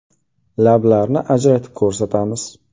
Lablarni ajratib ko‘rsatamiz.